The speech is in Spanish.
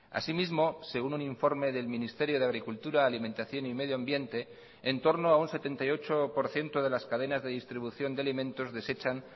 asimismo según un informe del ministerio de agricultura alimentación y medioambiente en torno a un setenta y ocho por ciento de las cadenas de distribución de alimentos desechan